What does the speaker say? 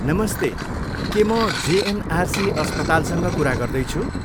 नमस्ते! के म जेएनआरसी अस्पतालसँग कुरा गर्दैछु?